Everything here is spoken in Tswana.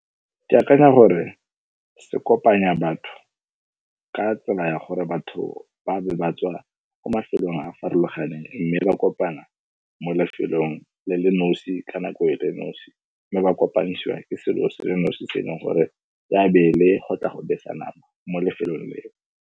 Ke akanya gore se kopanya batho ka tsela ya gore batho ba be ba tswa ko mafelong a farologaneng mme ba kopana mo lefelong le le nosi ka nako e le nosi mme ba kopanisiwa ke selo se le nosi se e leng gore ya be ele go tla go besa nama mo lefelong leo.